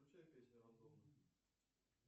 включай песни рандомно